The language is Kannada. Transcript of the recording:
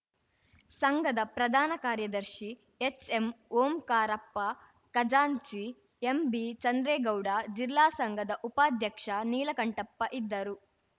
ಸಂಘದ ಪ್ರಧಾನ ಕಾರ್ಯದರ್ಶಿ ಎಚ್‌ಎಂ ಓಂಕಾರಪ್ಪ ಖಜಾಂಚಿ ಎಂಬಿ ಚಂದ್ರೇಗೌಡ ಜಿಲ್ಲಾ ಸಂಘದ ಉಪಾಧ್ಯಕ್ಷ ನೀಲಕಂಠಪ್ಪ ಇದ್ದರು